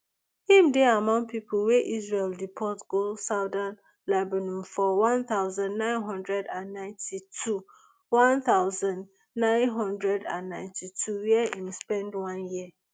im dey among pipo wey israel deport go southern lebanu for one thousand, nine hundred and ninety-two one thousand, nine hundred and ninety-two wia im spend one year